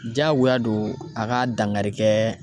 Diyagoya don a ka dankari kɛ